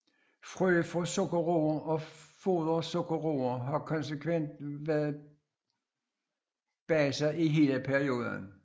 Frø af sukkerroer og fodersukkerroer har konsekvent været bejdset i hele perioden